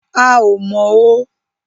A ò mọ̀ o